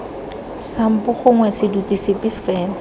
sampo gongwe seduti sepe fela